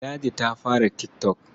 Ladi ta fara tik tok.